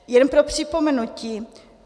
Jenom pro připomenutí.